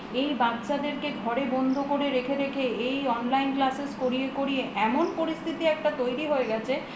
এই বাচ্ছাদের ঘরে বন্ধ করে রেখে রেখে এই online classes করিয়ে করিয়ে এমন পরিস্থিতি একটা তৈরী হয়ে গেছে